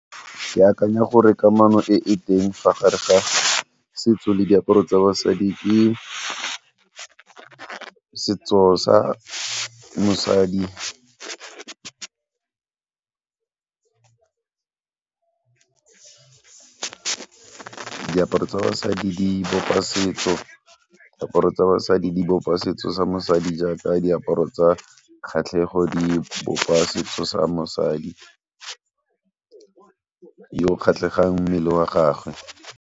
Ke akanya gore kamano e e teng fa gare ga setso le diaparo tsa basadi ke setso sa mosadi diaparo tsa basadi di bopa setso, diaparo tsa basadi di bopa setso sa mosadi jaaka diaparo tsa kgatlhego di bopa setso sa mosadi yo kgatlhegang mmele wa gagwe.